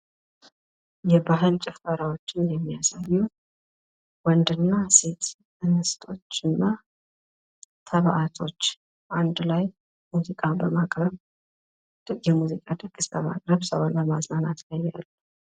የባህል ጭፈራዎችን የሚያሳዩ ወንድና ሴቶች እንስቶች ተባአቶች አንድ ላይ ሙዚቃ በማቅረብ የሙዚቃ ድግስ ላይ ሰዎችን ለማዝናናት ይታያሉ።